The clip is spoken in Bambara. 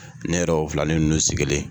Ne yɛrɛ y'o filanin ninnu sigilen ye